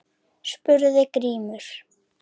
spurði Grímur.